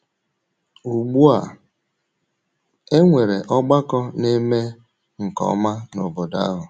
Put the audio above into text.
Ugbu a e nwere ọgbakọ na - eme nke ọma n’obodo ahụ.